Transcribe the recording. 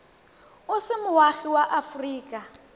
o se moagi wa aforika